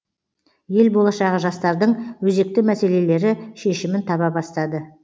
ел болашағы жастардың өзекті мәселелері шешімін таба бастады